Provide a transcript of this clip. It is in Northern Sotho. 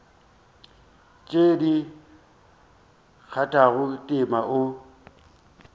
tše di kgathago tema o